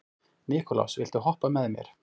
Nikulás, viltu hoppa með mér?